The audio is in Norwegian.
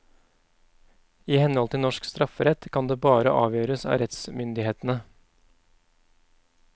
I henhold til norsk strafferett kan det bare avgjøres av rettsmyndighetene.